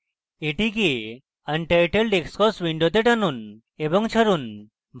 এটিকে untitled xcos window টানুন এবং ছাড়ুন